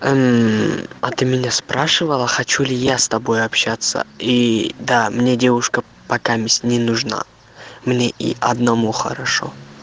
а ты меня спрашивала хочу ли я с тобой общаться и да мне девушка пока не нужна мне и одному хорошо